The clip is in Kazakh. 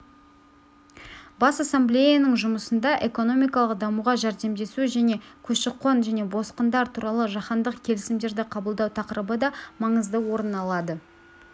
бас ассамблеяның жұмысында экономикалық дамуға жәрдемдесу және көші-қон және босқындар туралы жаһандық келісімдерді қабылдау тақырыбы да маңызды орын алады